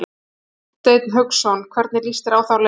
Hafsteinn Hauksson: Hvernig lýst þér á þá leið?